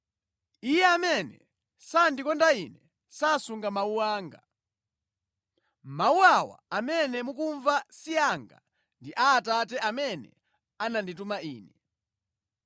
Iye amene sandikonda Ine sasunga mawu anga. Mawu awa amene mukumva si anga ndi a Atate amene anandituma Ine.